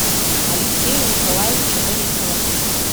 алексея николаевича борисова